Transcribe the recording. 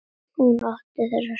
Hún átti þessa stund.